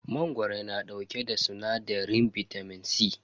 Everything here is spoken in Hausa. Mangoro na dauke da sinadarin bitamin C.